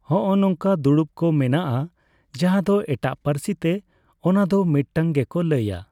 ᱦᱚᱸᱼᱚ ᱱᱚᱝᱠᱟ ᱫᱩᱲᱩᱵᱽ ᱠᱚ ᱢᱮᱱᱟᱜᱼᱟ ᱾ᱡᱟᱦᱟᱸ ᱫᱚ ᱮᱴᱟᱜ ᱯᱟᱹᱨᱥᱤ ᱛᱮ ᱚᱱᱟ ᱫᱚ ᱢᱤᱫᱴᱟᱝ ᱜᱮᱠᱚ ᱞᱟᱹᱭᱟ ᱾